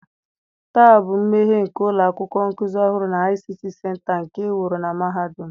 taa bụ mmeghe nke ụlọ akwụkwọ nkuzi ọhụrụ na ICT center nke e wuru na mahadum m.